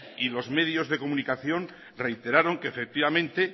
y los medios de comunicación reiteraron que efectivamente